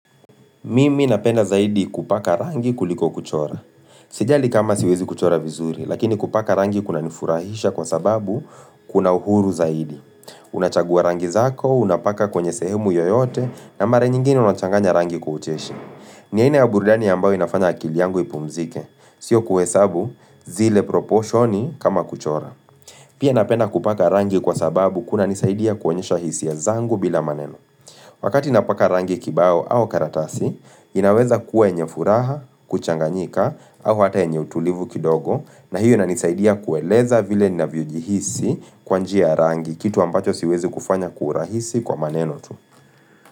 Mimi napenda zaidi kupaka rangi kuliko kuchora. Sijali kama siwezi kuchora vizuri, lakini kupaka rangi kuna nifurahisha kwa sababu kuna uhuru zaidi. Unachagua rangi zako, unapaka kwenye sehemu yoyote, na mara nyingine unachanganya rangi kwa ucheshi. Nyingine ya burudani ambao inafanya akili yangu ipumzike, sio kuhesabu zile proposhoni kama kuchora. Pia napenda kupaka rangi kwa sababu kunanisaidia kuonyesha hisia zangu bila maneno. Wakati napaka rangi kibao au karatasi, inaweza kuwe yenye furaha, kuchanganyika au hata yenye utulivu kidogo na hiyo inanisaidia kueleza vile ninavyojihisi kwa njia ya rangi, kitu ambacho siwezi kufanya kwa urahisi kwa maneno tu.